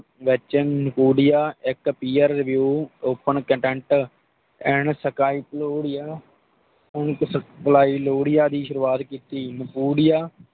ਵੇਚਨ ਇੰਪੁੜੀਆਂ ਇਕ ਪਿਆਰ ਵਿਊ ਸਕੈਂਦੋਪੀਡੀਆਂ Open Content ਸਕਲਾਇਲੋਰੀਆਂ ਦੀ ਸ਼ੁਰੂਆਤ ਕੀਤੀ